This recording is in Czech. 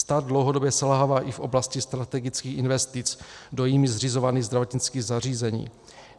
Stát dlouhodobě selhává i v oblasti strategických investic do jím zřizovaných zdravotnických zařízení.